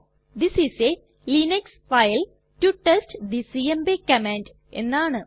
this is a Linux file to test the CMP command എന്നാണ്